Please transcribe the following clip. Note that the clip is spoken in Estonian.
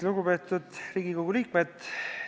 Lugupeetud Riigikogu liikmed!